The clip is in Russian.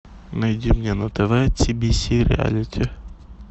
найди мне на тв тибиси реалити